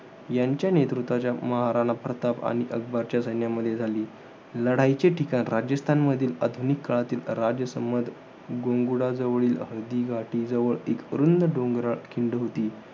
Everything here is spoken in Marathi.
यांच्या नेतृत्वाच्या, महाराणा प्रताप आणि अकबरच्या सैन्यामध्ये झाली. लढाईचे ठिकाण राजस्थानच्या, आधुनिक काळातील राजसंमद, गुंगुडा जवळील हळदी घाटी जवळ एक रुंद डोंगराळ खिंड होती.